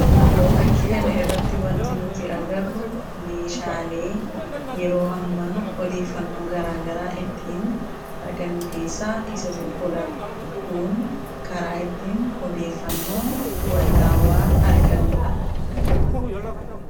fakkii kana irratti wanti nuti agarru meeshaalee yeroo ammaa odeeffannoo garaagaraa ittiin argannu keessaa isa tokkoodha kun karaa ittiin odeeffannoo wa'iitaawwaa argannu dha.